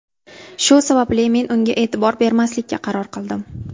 Shu sababli men unga e’tibor bermaslikka qaror qildim.